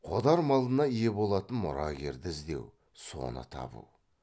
қодар малына ие болатын мұрагерді іздеу соны табу